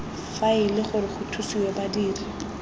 faele gore go thusiwe badiri